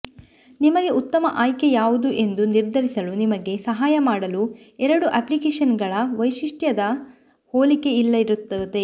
ನಿಮಗೆ ಉತ್ತಮ ಆಯ್ಕೆ ಯಾವುದು ಎಂದು ನಿರ್ಧರಿಸಲು ನಿಮಗೆ ಸಹಾಯ ಮಾಡಲು ಎರಡು ಅಪ್ಲಿಕೇಶನ್ಗಳ ವೈಶಿಷ್ಟ್ಯದ ಹೋಲಿಕೆ ಇಲ್ಲಿರುತ್ತದೆ